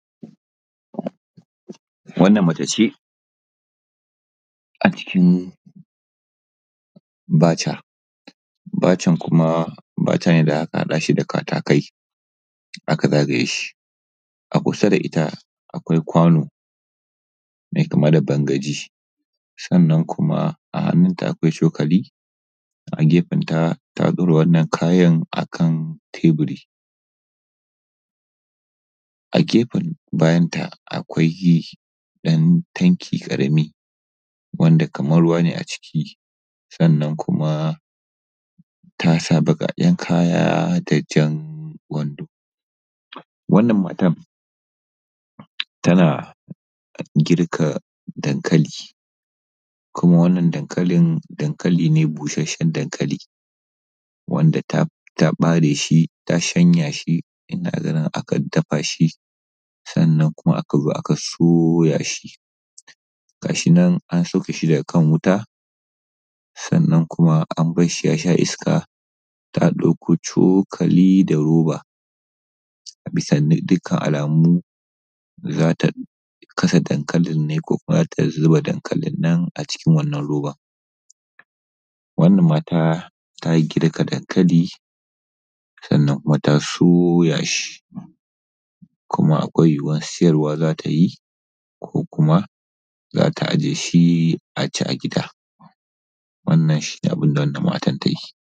Wannan Mace ce a cikin baca, bacan kuma baca ne da aka haɗa da karakai aka rufe shi. A kusa da ita akwai kwano mai kama da bangaji, sannan kuma a hannnunta akwai cokali a gefenta ta ɗaura wannan kayan a kan teburi. A gefen bayanta akwai ɗan tanki ƙarami, sannan kuma ta sa baƙaken kaya da jan wando. Wannan matan tana girka dankali kuma wannan dankalin dankali ne busasshen dankali da ta bare shi ta yanka shi da akan dafa shi sannan kuma aka zo aka soya shi. Ga shi nan an sauke shi daga kan wura sannan kuma an bar shi ya sha iska ta ɗauko cokali da roba. Bisa ga dukkan alamu za ta kasa dankalin ne ko kuwa za ta zuba dankalin nan a cikin wannan robar. Wannan mata ta girka dankali sannan kuma ta soya shi kuma akwai yuwuwar sayarwa za ta ko ajewa za ta yi a ci a gida. Wannan shi ne abun da matar ta yi.